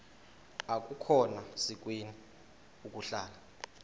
akukhona sikweni ukuhlala